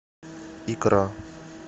икра